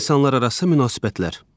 İnsanlararası münasibətlər.